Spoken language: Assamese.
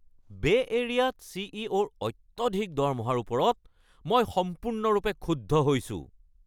বে’ এৰিয়াত চিইঅ’-ৰ অত্যধিক দৰমহাৰ ওপৰত মই সম্পূৰ্ণৰূপে ক্ষুব্ধ হৈছোঁ।